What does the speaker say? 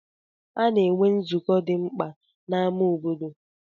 A na-enwe nzụkọ obodo dị mkpa na ámá obodo.